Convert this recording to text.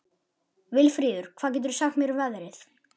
Vilfríður, hvað geturðu sagt mér um veðrið?